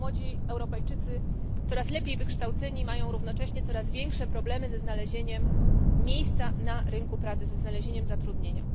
Młodzi Europejczycy coraz lepiej wykształceni mają równocześnie coraz większe problemy ze znalezieniem miejsca na rynku pracy, ze znalezieniem zatrudnienia.